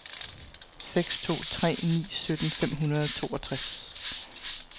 seks to tre ni sytten fem hundrede og toogtres